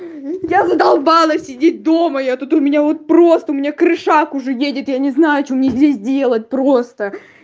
я задолбалась сидеть дома я тут у меня вот просто у меня крышак уже едет я не знаю что мне здесь делать просто